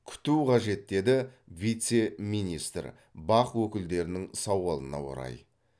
күту қажет деді вице министр бақ өкілдерінің сауалына орай